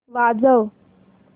वाजव